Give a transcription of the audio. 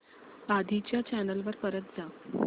आधी च्या चॅनल वर परत जा